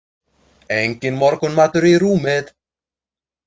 Enginn morgunmatur í rúmið.